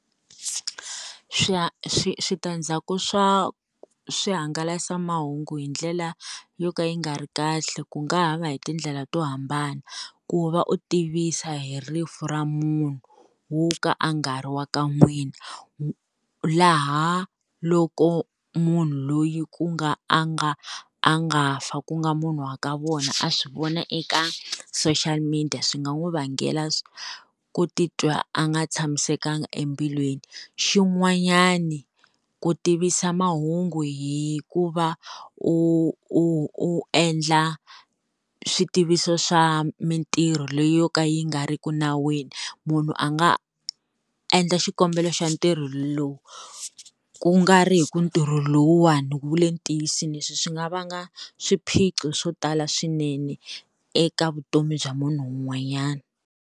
switandzhaku swa swihangalasamahungu hi ndlela yo ka yi nga ri kahle, ku nga ha va hi tindlela to hambana, ku va u tivisa hi rifu ra munhu wo ka a nga ri wa ka n'wina, laha loko munhu loyi ku nga a nga a nga fa ku nga munhu wa ka vona a swi vona eka social media swi nga n'wi vangela ku titwa a nga tshamisekanga embilwini. Xin'wanyana ku tivisa mahungu hikuva u u u endla switiviso swa mintirho leyo ka yi nga ri ki nawini. Munhu a nga endla xikombelo xa ntirho lowu kungari hi ku ntirho lowuwani wu le ntiyisweni leswi swi nga va nga swiphiqo swo tala swinene eka vutomi bya munhu un'wanyana.